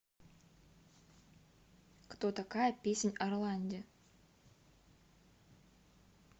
кто такая песнь о роланде